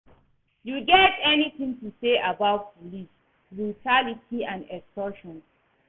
You get any thing to say about police brutality and extortion?